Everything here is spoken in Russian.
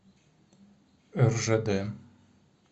ржд